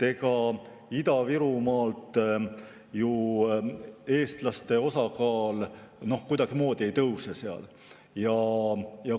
Ega Ida-Virumaal ju eestlaste osakaal kuidagimoodi ei tõuse.